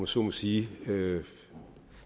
så må sige